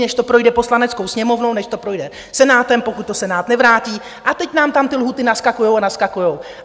Než to projde Poslaneckou sněmovnou, než to projde Senátem, pokud to Senát nevrátí, a teď nám tam ty lhůty naskakují a naskakují.